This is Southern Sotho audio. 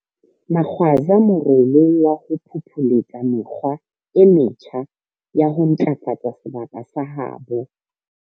Magwaza morolo wa ho phopholetsa mekgwa e metjha ya ho ntlafatsa sebaka sa habo.